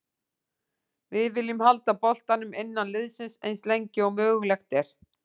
Við viljum halda boltanum innan liðsins eins lengi og mögulegt er.